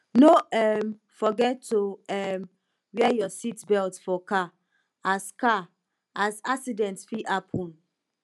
no um forget to um wear your seatbelt for car as car as accident fit happen